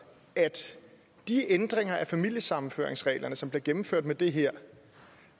at de ændringer af familiesammenføringsreglerne som bliver gennemført med det her